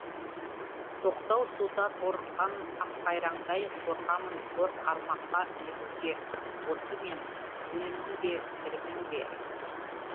тоқтау суда торыққан аққайраңдай қорқамын қор қармаққа ілігуге осы мен өлімін бе тірімін бе